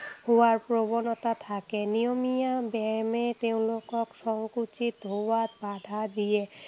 হোৱাৰ প্ৰৱনতা থাকে। নিয়মীয়া ব্যায়ামে তেঁওলোকক সংকুচিত হোৱাত বাধা দিয়ে।